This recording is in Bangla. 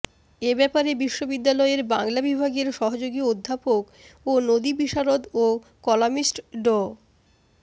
এ ব্যাপারে বিশ্ববিদ্যালয়ের বাংলা বিভাগের সহযোগী অধ্যাপক ও নদী বিশারদ ও কলামিস্ট ড